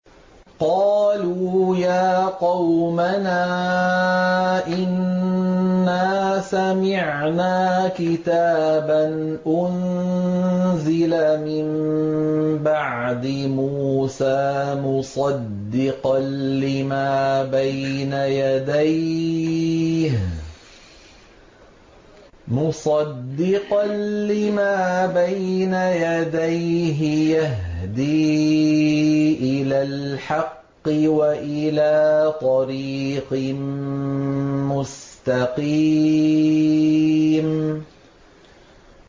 قَالُوا يَا قَوْمَنَا إِنَّا سَمِعْنَا كِتَابًا أُنزِلَ مِن بَعْدِ مُوسَىٰ مُصَدِّقًا لِّمَا بَيْنَ يَدَيْهِ يَهْدِي إِلَى الْحَقِّ وَإِلَىٰ طَرِيقٍ مُّسْتَقِيمٍ